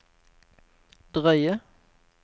drøye